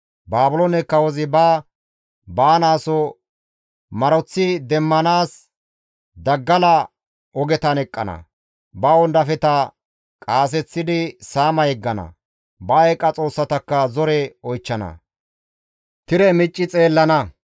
Baabiloone kawozi ba baanaaso maroththi demmanaas daggala ogetan eqqana; ba wondafeta qaaseththidi saama yeggana; ba eeqa xoossatakka zore oychchana; tire micci xeellana.